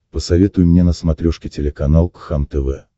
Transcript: посоветуй мне на смотрешке телеканал кхлм тв